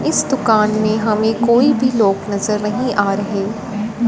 इस दुकान में हमें कोई भी लोग नजर नहीं आ रहे।